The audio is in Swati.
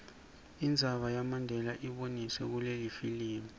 indzaba yamandela iboniswe kulelifilimu